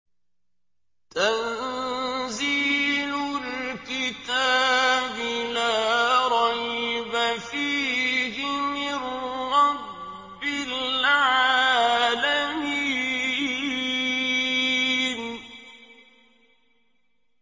تَنزِيلُ الْكِتَابِ لَا رَيْبَ فِيهِ مِن رَّبِّ الْعَالَمِينَ